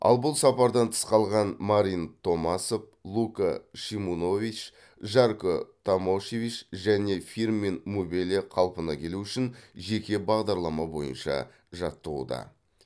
ал бұл сапардан тыс қалған марин томасов лука шимунович жарко томошевич және фирмин мубеле қалпына келуі үшін жеке бағдарлама бойынша жаттығуда